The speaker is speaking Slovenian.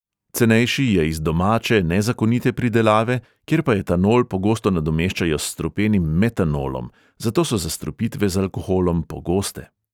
Cenejši je iz domače nezakonite pridelave, kjer pa etanol pogosto nadomeščajo s strupenim metanolom, zato so zastrupitve z alkoholom pogoste.